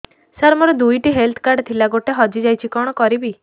ସାର ମୋର ଦୁଇ ଟି ହେଲ୍ଥ କାର୍ଡ ଥିଲା ଗୋଟେ ହଜିଯାଇଛି କଣ କରିବି